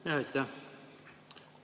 Aitäh!